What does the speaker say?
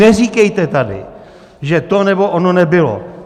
Neříkejte tady, že to nebo ono nebylo.